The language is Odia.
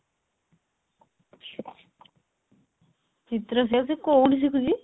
ଚିତ୍ର ସେ ଆଉ ସେ କହୁନି ସେଇଆ